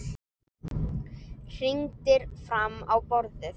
Hrindir fram á borðið.